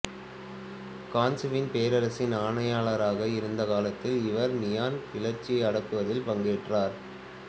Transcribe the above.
கான்சுவில் பேரரசின் ஆணையாளராக இருந்த காலத்தில் இவர் நியான் கிளர்ச்சியை அடக்குவதில் பங்கேற்றார்